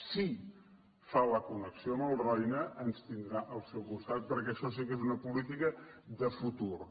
si fa la connexió amb el roine ens tindrà al seu costat perquè això sí que és una política de futur